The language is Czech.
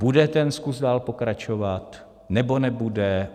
Bude ten skluz dál pokračovat, nebo nebude?